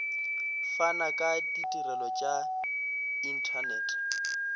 fana ka ditirelo tša inthanete